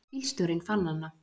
Bílstjórinn fann hana.